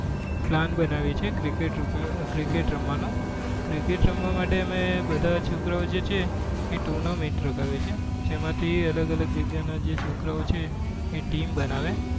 બ plan બનાવીએ છીએ cricket રમવા નો cricket રમવા માટે અમે બધા છોકરાઓ જે છે એ tournament જેમાં થી અલગ અલગ જગ્યા ના જે છોકરાઓ છે એ team બનાવે